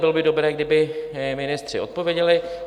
Bylo by dobré, kdyby ministři odpověděli.